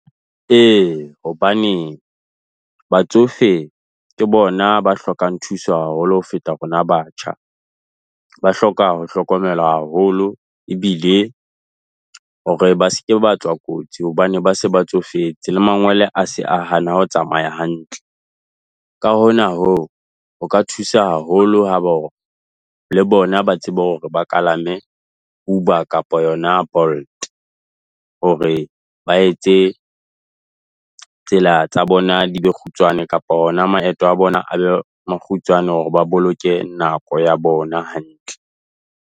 Ee hobane batsofe ke bona ba hlokang thuso haholo ho feta rona batjha. Ba hloka ho hlokomelwa haholo ebile hore ba se ke batswa kotsi hobane ba se ba tsofetse le mangwele a se a hana ho tsamaya hantle. Ka hona hoo ho ka thusa haholo haba hore le bona ba tsebe hore ba kalame Uber kapa yona Bolt hore ba etse tsela tsa bona di be kgutshwane kapa ona maeto a bona a be makgutshwane, hore ba boloke nako ya bona hantle.